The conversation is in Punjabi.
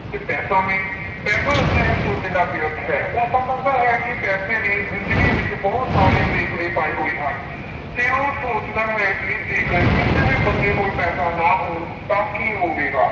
ਤੇ ਪੈਸਾ ਵੀ ਪੈਸਾ ਸਿਹਤ ਤੋਂ ਬਿਨਾਂ ਵਿਅਰਥ ਹੈ, ਉਹ ਸਮਝਦਾ ਹੈ ਕਿ ਪੈਸੇ ਨੇ ਜ਼ਿੰਦਗੀ ਵਿੱਚ ਬਹੁਤ ਸਾਰੇ ਰੇਕਵੇ ਪਾਏ ਹੋਏ ਹਨ ਫਿਰ ਉਹ ਸੋਚਦਾ ਹੈ ਕਿ ਜੇਕਰ ਕਿਸੇ ਵੀ ਬੰਦੇ ਕੋਲ ਪੈਸਾ ਨਾ ਹੋਣ ਤਾਂ ਕੀ ਹੋਵੇਗਾ।